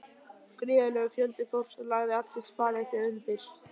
Gríðarlegur fjöldi fólks lagði allt sitt sparifé undir.